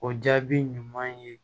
O jaabi ɲuman ye